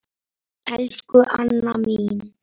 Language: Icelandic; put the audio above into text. Elsku Anna mín.